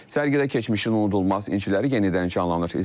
Sərgidə keçmişin unudulmaz inciləri yenidən canlanır.